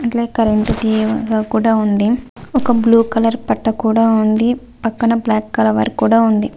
Current తీగ కూడా ఉంది. ఒక బ్ల్యూ కలర్ పట్ట కూడా ఉంది. పక్కన బ్లాక్ కవర్ కూడా ఉంది.